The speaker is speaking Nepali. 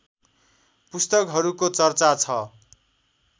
पुस्तकहरूको चर्चा छ